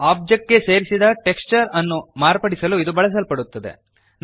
object ಗೆ ಸೇರಿಸಿದ texture ಅನ್ನು ಮಾರ್ಪಡಿಸಲು ಇದು ಬಳಸಲ್ಪಡುತ್ತದೆ